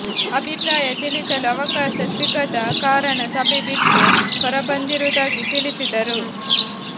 ಅಭಿಪ್ರಾಯ ತಿಳಿಸಲು ಅವಕಾಶ ಸಿಗದ ಕಾರಣ ಸಭೆ ಬಿಟ್ಟು ಹೊರಬಂದಿರುವುದಾಗಿ ತಿಳಿಸಿದರು